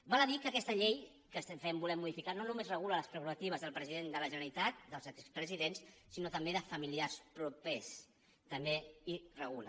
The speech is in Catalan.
val a dir que aquesta llei que volem modificar no només regula les prerrogatives del president de la generalitat dels expresidents sinó també de familiars propers també s’hi regula